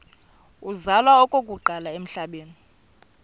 uzalwa okokuqala emhlabeni